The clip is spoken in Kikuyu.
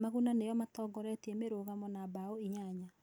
Maguna nĩo matongoretie mĩrũgamo na mbaũ inyanya.